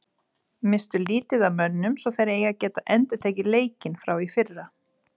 Misstu lítið af mönnum svo þeir eiga að geta endurtekið leikinn frá í fyrra.